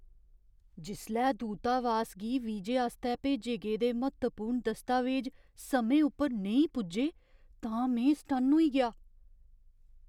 जिसलै दूतावास गी वीजे आस्तै भेजे गेदे म्हत्तवपूर्ण दस्तावेज समें उप्पर नेईं पुज्जे तां में सटन्न होई गेआ।